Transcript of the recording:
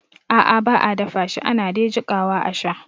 A'a ba a dafashi ana de jikawa a sha